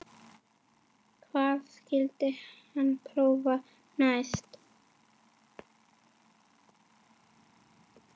Hvað skyldi hann prófa næst?